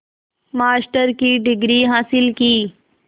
master की degree हासिल की